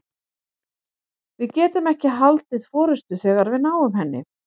Við getum ekki haldið forystu þegar við náum henni.